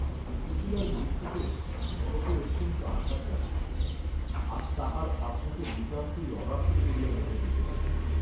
সুশীলার মৃত্যুতে কনকের অত্যন্ত আঘাত লাগিল, আজ তাহার আপনাকে নিতান্তই অনাথিনী বলিয়া মনে হইতে লাগিল।